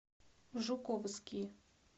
жуковский